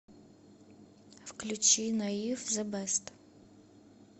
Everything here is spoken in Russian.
включи наив зе бест